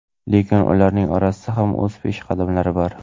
Lekin ularning orasida ham o‘z peshqadamlari bor.